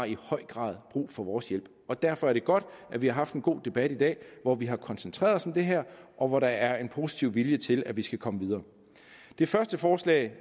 i høj grad har brug for vores hjælp derfor er det godt at vi har haft en god debat i dag hvor vi har koncentreret os om det her og hvor der er en positiv vilje til at vi skal komme videre det første forslag